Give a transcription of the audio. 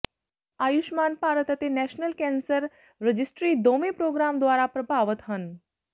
ਆਯੁਸ਼ਮਾਨ ਭਾਰਤ ਅਤੇ national cancer registry ਦੋਵੇਂ programme ਦੁਆਰਾ ਪ੍ਰਭਾਵਤ ਹਨ